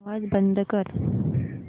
आवाज बंद कर